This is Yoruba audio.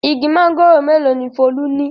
Igi mángòrò mélòó ni Folú ní?